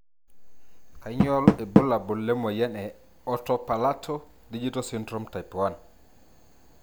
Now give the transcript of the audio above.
Kanyio ibulabul lemoyian e Oto palato digital syndrome type 1?